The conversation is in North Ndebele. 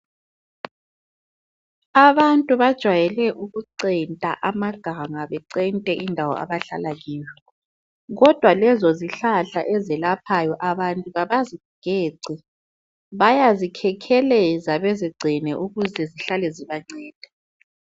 Abantu bajwayele ukucenta amaganga bencente indawo abahlala kiyo kodwa lezo zihlahla ezelaphayo abantu kabazigeci bayazikhekheleza bezigcine ukuze zihlale zibanceda.